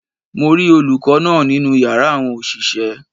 Mo rí olùkó náà nínú yàrá àwọn òṣìṣẹ́